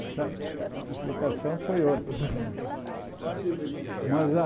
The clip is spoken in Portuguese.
Mas a a aplicação foi outra. Que tipo de Mas a